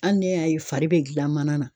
Hali ne y'a ye fari bɛ gilan mana na.